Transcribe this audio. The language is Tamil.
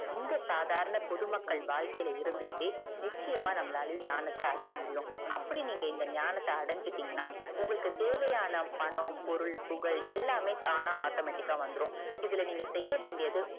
இந்த சாதாரண பொது மக்கள் வாழ்க்கைல இருந்து கிட்டே நிச்சயமா ஞானத்த அடையமுடியும் அப்டி நீங்க இந்த ஞானத்த அடைஞ்சிடீங்கனாஉங்களுக்கு தேவையான பணம் பொருள் புகழ் தான automatic ஆஹ் வந்துரும்இதுல நீங்க செய்யவேண்டியது